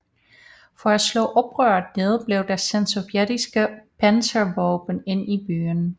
For at slå oprøret ned blev der sendt sovjetiske panservåben ind i byen